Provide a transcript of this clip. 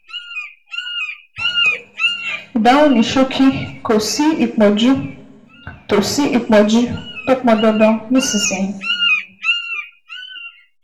Ìdáhùn ní ṣókí: Kò sí ìtọ́jú tó sí ìtọ́jú tó pọn dandan nísinsìnyí